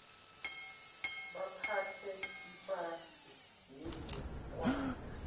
baphathe ipasi nebhukwana